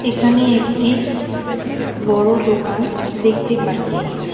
এখানে একটি বড় দোকান দেখতে পাচ্ছি।